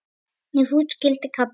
Ef hús skyldi kalla.